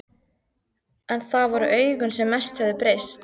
En það voru augun sem mest höfðu breyst.